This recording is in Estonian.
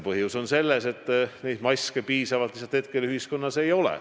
Põhjus on selles, et neid maske lihtsalt ei ole piisaval hulgal.